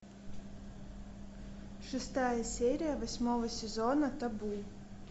шестая серия восьмого сезона табу